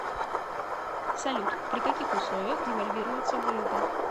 салют при каких условиях девальвируется валюта